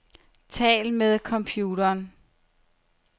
Tal med computeren.